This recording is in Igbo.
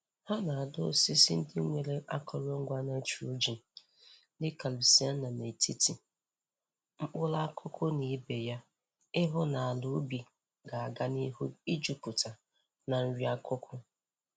Ha na-adọ osisi ndi nwere akọrọngwa nitrogen dịka lucaena n'etiti mkpụrụ akụkụ na ibe ya ii hụ na ala ui ga-aga n'ihu ijuputa na nri akụkụ.